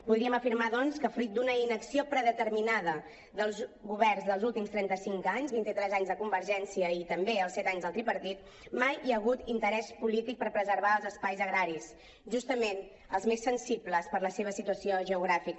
podríem afirmar doncs que fruit d’una inacció predeterminada dels governs dels últims trenta cinc anys vint i tres anys de convergència i també els set anys del tripartit mai hi ha hagut interès polític per preservar els espais agraris justament els més sensibles per la seva situació geogràfica